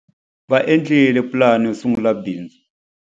Va endlile pulani yo sungula bindzu.